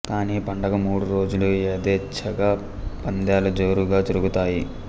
కానీ పండగ మూడు రోజులు యథేచ్ఛగా పందేలు జోరుగా జరుగుతాయి